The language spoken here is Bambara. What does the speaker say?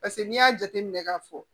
Paseke n'i y'a jateminɛ k'a fɔ